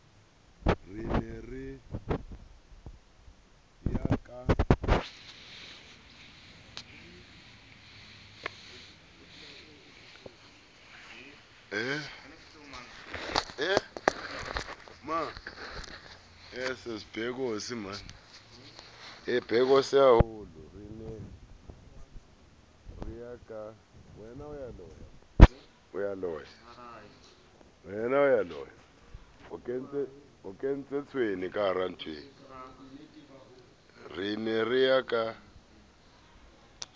re ne re ya ka